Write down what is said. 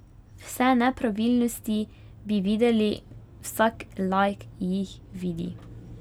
Vse nepravilnosti bi videli, vsak laik jih vidi.